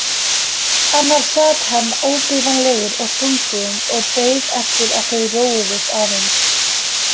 Annars sat hann óbifanlegur og þungbúinn og beið eftir að þau róuðust aðeins.